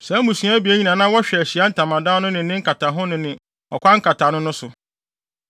Saa mmusua abien yi na na wɔhwɛ Ahyiae Ntamadan no ne ne nkataho no ne ɔkwan nkataano no so.